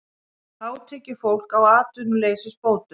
Hátekjufólk á atvinnuleysisbótum